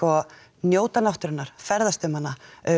njóta náttúrunnar ferðast um hana